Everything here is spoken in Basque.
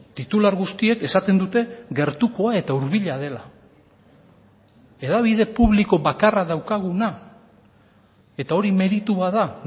titular guztiek esaten dute gertukoa eta hurbila dela hedabide publiko bakarra daukaguna eta hori meritua da